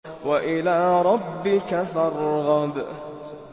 وَإِلَىٰ رَبِّكَ فَارْغَب